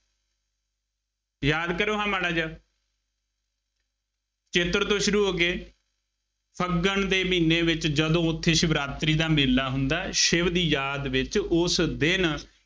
ਯਾਦ ਕਰੋ ਨਾ ਮਾੜਾ ਜਿਹਾ, ਚੇਤਰ ਤੋਂ ਸ਼ੁਰੂ ਹੋ ਕੇ, ਫੱਗਣ ਦੇ ਮਹੀਨੇ ਵਿੱਚ ਜਦੋਂ ਉੱਥੇ ਸ਼ਿਵਰਾਤਰੀ ਦਾ ਮੇਲਾ ਹੁੰਦਾ, ਸ਼ਿਵ ਦੀ ਯਾਦ ਵਿਚ ਉਸ ਦਿਨ